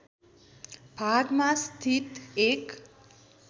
भागमा स्थित एक